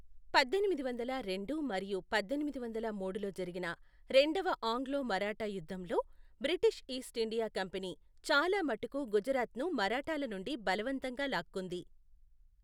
పద్దెనిమిది వందల రెండు మరియు పద్దెనిమిది వందల మూడులో జరిగిన రెండవ ఆంగ్లో మరాఠా యుద్ధంలో, బ్రిటిష్ ఈస్ట్ ఇండియా కంపెనీ చాలా మటుకు గుజరాత్ను మరాఠాల నుండి బలవంతంగా లాక్కుంది.